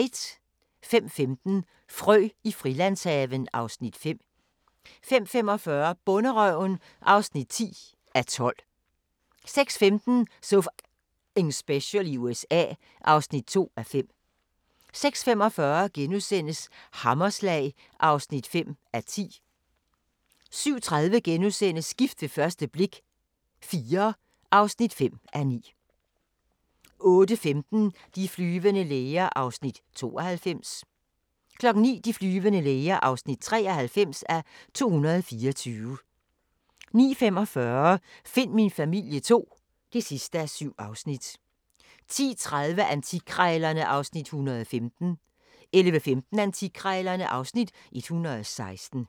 05:15: Frø i Frilandshaven (Afs. 5) 05:45: Bonderøven (9:12) 06:15: So F***ing Special i USA (2:5) 06:45: Hammerslag (5:10)* 07:30: Gift ved første blik – IV (5:9)* 08:15: De flyvende læger (92:224) 09:00: De flyvende læger (93:224) 09:45: Find min familie II (7:7) 10:30: Antikkrejlerne (Afs. 115) 11:15: Antikkrejlerne (Afs. 116)